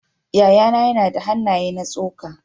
Yayana yana da hannaye na tsoka.